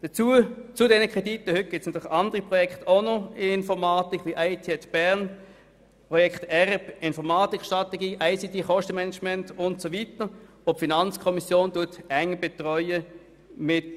Zusätzlich zu den heute vorliegenden Krediten gibt es natürlich auch noch andere Projekte der Informatik, wie IT@BE, Enterprise Resource Planning (ERP), ICT-Kostenmanagement und so weiter, welche die FiKo gemeinsam mit dem KAIO eng betreut.